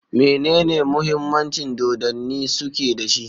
Menene Muhimmancin Dodanni Suke da shi?